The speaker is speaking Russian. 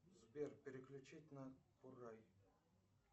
сбер переключить на курай